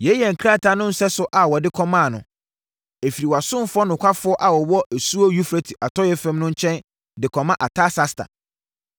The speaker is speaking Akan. Yei yɛ krataa no nsɛso a wɔde kɔmaa no: Ɛfiri wʼasomfoɔ nokwafoɔ a wɔwɔ asuo Eufrate atɔeɛ fam no nkyɛn de kɔma Artasasta: